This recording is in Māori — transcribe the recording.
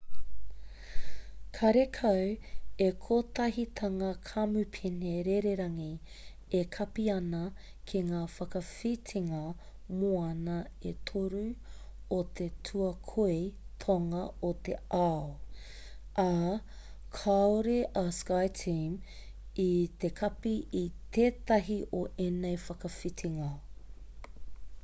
karekau he kotahitanga kamupene rererangi e kapi ana ki ngā whakawhitinga moana e toru o te tuakoi tonga o te ao ā kaore a skyteam i te kapi i tētahi o ēnei whakawhitinga